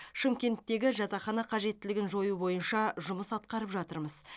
шымкенттегі жатақхана қажеттілігін жою бойынша жұмыс атқарып жатырмыз